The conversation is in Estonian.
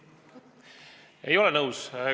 Ei, ei ole nõus.